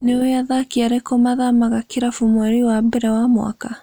Nĩue athaki arĩku mathamaga kĩrabu mweri wa mbere wa mwaka?